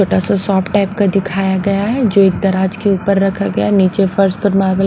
छोटा सा soft type का दिखाया गया है जो एक तराज के ऊपर रखा गया है नीचे फर्श परमार।